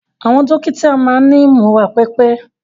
Àwọn dókítà máa ni múra pipe.